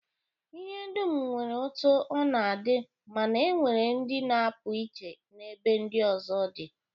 lhe dum nwere otu o na-adi mana e nwere ndi na-apu iche n'ebe ndi ozo di.